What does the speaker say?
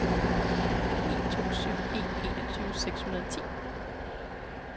ni to syv en enogtyve seks hundrede og ti